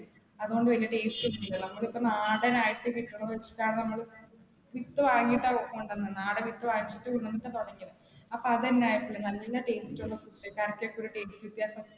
അതുകൊണ്ട് വല്യ taste ഒന്നുമില്ല, നമ്മൾ ഇപ്പോ നാടൻ ആയിട്ട് കിട്ടുന്നത് വച്ചിട്ടാണ് നമ്മള്, വിത്തു വാങ്ങിയിട്ടാ കൊണ്ടുവന്നത് നാടൻ വിത്ത് വാങ്ങിച്ചിട്ട് കൊണ്ടുവന്നാട്ട , അപ്പ അതുതന്നെയായിരിക്കും നല്ല taste ഉള്ള food